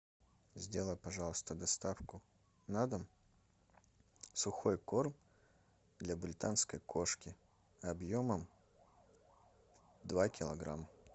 сделай пожалуйста доставку на дом сухой корм для британской кошки объемом два килограмма